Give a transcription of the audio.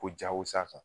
Ko jago sa kan